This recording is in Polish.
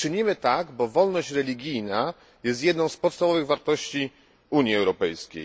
Czynimy tak, bo wolność religijna jest jedną z podstawowych wartości Unii Europejskiej.